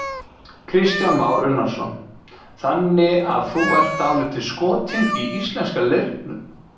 Kristján Már Unnarsson: Þannig að þú ert dálítið skotinn í íslenska leirnum?